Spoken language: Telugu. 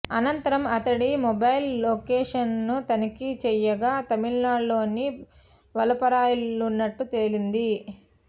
అనంతరం అతడి మొబైల్ లొకేషన్ను తనిఖీ చేయగా తమిళనాడులోని వలపరాయ్లో ఉన్నట్లు తేలింది